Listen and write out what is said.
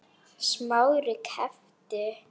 Smári gapti.